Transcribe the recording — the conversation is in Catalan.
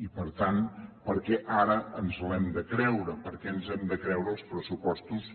i per tant per què ara ens l’hem de creure per què ens hem de creure els pressupostos